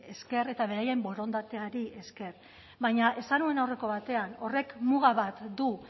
esker eta beraien borondateari esker baina esan nuen aurreko batean horrek muga bat du